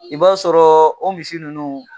I b'a sɔrɔ o misi nunnu.